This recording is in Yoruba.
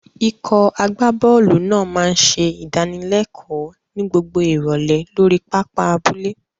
Ikọ̀ agbábọ́ọ̀lù náà máa ń ṣe ìdánilẹ́kọ̀ọ́ ní gbogbo ìrọ̀lẹ́ lórí pápá abúlé.